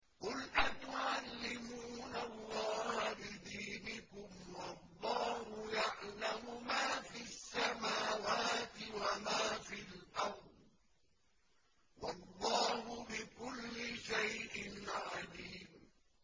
قُلْ أَتُعَلِّمُونَ اللَّهَ بِدِينِكُمْ وَاللَّهُ يَعْلَمُ مَا فِي السَّمَاوَاتِ وَمَا فِي الْأَرْضِ ۚ وَاللَّهُ بِكُلِّ شَيْءٍ عَلِيمٌ